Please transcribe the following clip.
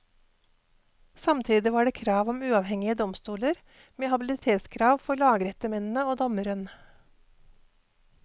Samtidig var det krav om uavhengige domstoler med habilitetskrav for lagrettemennene og dommeren.